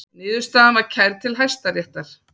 Niðurstaðan var kærð til Hæstaréttar